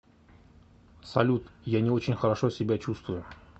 салют я не очень хорошо себя чувствую